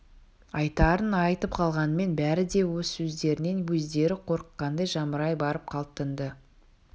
айтарын айтып қалғанмен бәрі де өз сөздерінен өздері қорыққандай жамырай барып қалт тынды